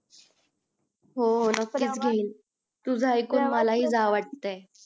हो हो नकी च घेईल तुझं ऐकून मला हि जावं वाटय